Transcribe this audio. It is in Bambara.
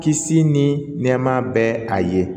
Kisi ni nɛɛma bɛ a ye